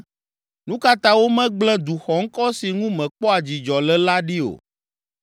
Nu ka ta womegblẽ du xɔŋkɔ si ŋu mekpɔa dzidzɔ le la ɖi o?